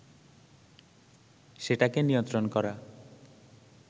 সেটাকে নিয়ন্ত্রণ করা